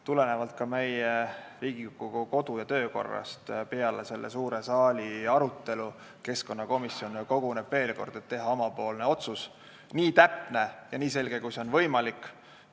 Tulenevalt ka Riigikogu kodu- ja töökorrast koguneb pärast suure saali arutelu keskkonnakomisjon veel kord, et teha oma otsus, nii täpne ja nii selge, kui see on võimalik.